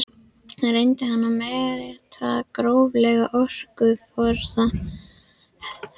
Reyndi hann að meta gróflega orkuforða helstu háhitasvæða landsins.